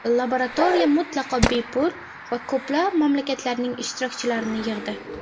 Laboratoriya mutlaqo bepul va ko‘plab mamlakatlarning ishtirokchilarini yig‘di.